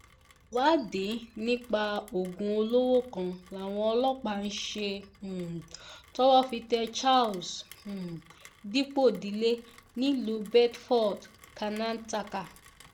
ìwádìí nípa oògùn olóró kan làwọn ọlọ́pàá ń ṣe um tọ́wọ́ fi tẹ charles um dipòdílé nílùú bedford karnataka